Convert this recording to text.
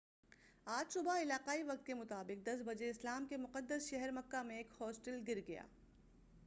آج صبح علاقائی وقت کے مطابق 10 بجے اسلام کے مقدس شہر مکہ میں ایک ہوسٹل گر گیا